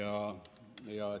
Ka rebaseid ei ole seal.